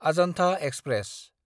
Ajanta express